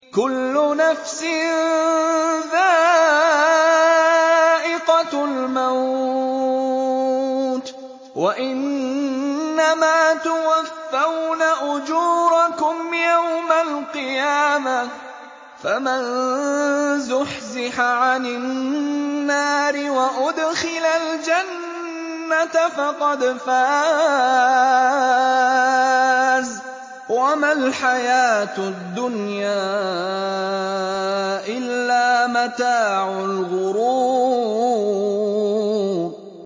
كُلُّ نَفْسٍ ذَائِقَةُ الْمَوْتِ ۗ وَإِنَّمَا تُوَفَّوْنَ أُجُورَكُمْ يَوْمَ الْقِيَامَةِ ۖ فَمَن زُحْزِحَ عَنِ النَّارِ وَأُدْخِلَ الْجَنَّةَ فَقَدْ فَازَ ۗ وَمَا الْحَيَاةُ الدُّنْيَا إِلَّا مَتَاعُ الْغُرُورِ